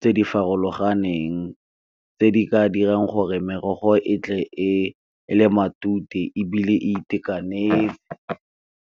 tse di farologaneng tse di ka dirang gore merogo e tle e le matute ebile e itekanetse.